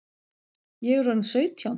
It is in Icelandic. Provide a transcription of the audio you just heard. Ég er orðin sautján!